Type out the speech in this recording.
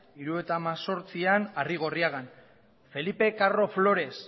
hirurogeita hemezortzian arrigorriagan felipe carro flores